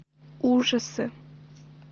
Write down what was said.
ужасы